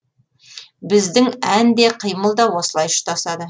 біздің ән де қимыл да осылай ұштасады